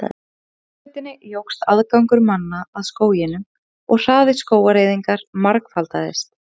Með hraðbrautinni jókst aðgangur manna að skóginum og hraði skógareyðingar margfaldaðist.